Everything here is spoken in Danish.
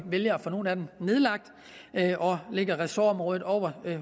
vælger at få nogle af dem nedlagt og lægger ressortområdet over til